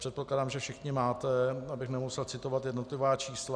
Předpokládám, že všichni máte, abych nemusel citovat jednotlivá čísla.